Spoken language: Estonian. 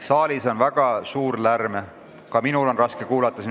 Saalis on väga suur lärm, isegi minul siin üleval on raske kuulata.